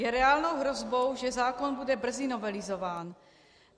Je reálnou hrozbou, že zákon bude brzy novelizován.